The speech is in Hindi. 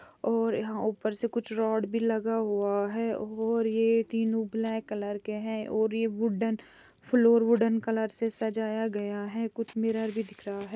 और यहाँ ऊपर से कुछ रोड भी लगा हुआ है और ये तीनों ब्लैक कलर के हैं और ये वुडन फ्लोर वुडन कलर से सजाया गया है कुछ मिरर भी दिख रहा है